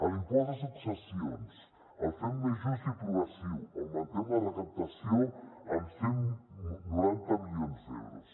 l’impost de successions el fem més just i progressiu augmentem la recaptació en cent i noranta milions d’euros